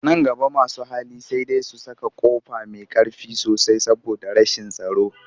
Nan gaba masu hali sai dai su saka ƙofa mai ƙ arfi sosai saboda rashin tsaro